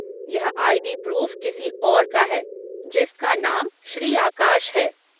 यह ID. Proof किसी और का है, जिसका नाम श्री आकाश है।